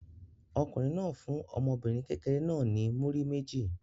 Ọkùnrin náà fún ọmọbìnrin kékeré náà ní múrí méjì.